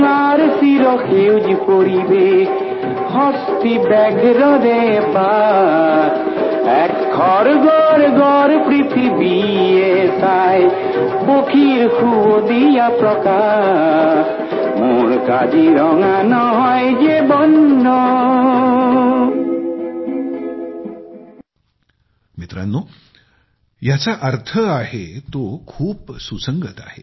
मित्रांनो याचा अर्थ खालीलप्रमाणे आहे आणि तो या भावनेशी खूप सुसंगत आहे